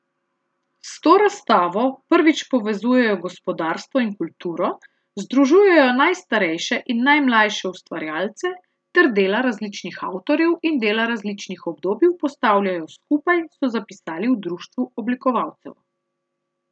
S to razstavo prvič povezujejo gospodarstvo in kulturo, združujejo najstarejše in najmlajše ustvarjalce ter dela različnih avtorjev in dela različnih obdobij postavljajo skupaj, so zapisali v društvu oblikovalcev.